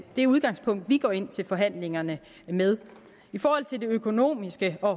det udgangspunkt vi går ind til forhandlingerne med i forhold til det økonomiske og